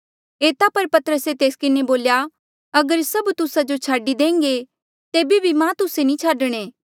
एता पर पतरसे तेस किन्हें बोल्या अगर सभ तुस्सा जो छाडी देह्ंगे तेबे भी मां तुस्से नी छाडणे